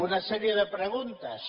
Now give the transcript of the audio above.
una sèrie de preguntes